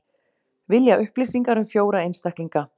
Vilja upplýsingar um fjóra einstaklinga